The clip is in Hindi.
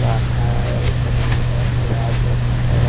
पराठा है पनीर है प्याज है मठर है।